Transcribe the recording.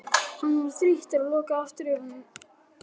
Hann var þreyttur og lokaði aftur augunum.